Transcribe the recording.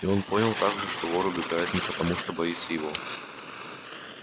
и он понял также что вор убегает не потому что боится его